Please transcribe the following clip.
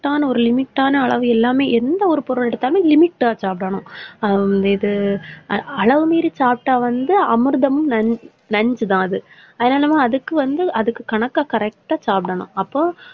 correct தான் ஒரு limit ஆன அளவு இல்லாம எந்த ஒரு பொருள் எடுத்தாலும் limit ஆ சாப்பிடணும் ஆஹ் இது அளவு மீறி சாப்பிட்டா வந்து அமிர்தமும் நஞ்~ நஞ்சுதான் அது அதனால அதுக்கு வந்து அதுக்கு கணக்கா correct ஆ சாப்பிடணும். அப்போ,